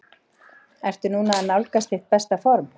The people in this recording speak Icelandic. Ertu núna að nálgast þitt besta form?